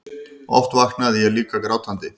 Oft vaknaði ég líka grátandi.